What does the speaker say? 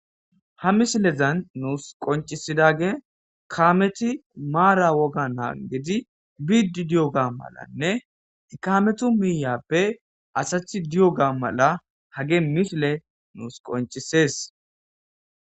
ha misilezan nuus qoncisidage kameti maara woga naa gidi biiddi di7o ga malanne kametu miiyappe asathi di7o gaa mala hage mishile nuus qoncisees